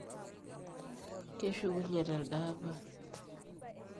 keshukunye telde apa